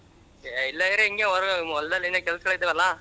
ಹೆ ಇಲ್ಲರಿ ಹಿಂಗೇ ಹೊಲದೇನು ಕೆಲ್ಸ್ಗಲ್ ಇದ್ದವಲ್ಲ.